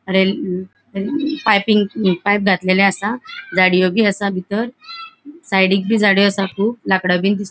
अ अ rail piping pipe घातलेले आसा झाड़ियों बी आसा बितर साइडिक बी झाडे आसा कुब लाकडा बिन दिस --